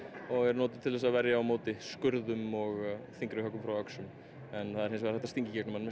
og er notuð til að verjast skurðum og þyngri höggum frá öxum en það er hægt að stinga í gegnum mann með